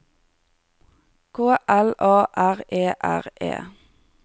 K L A R E R E